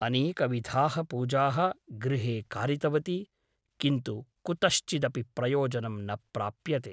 अनेकविधाः पूजाः गृहे कारितवती । किन्तु कुतश्चिदपि प्रयोजनं न प्राप्यते ।